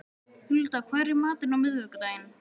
Hulda, hvað er í matinn á miðvikudaginn?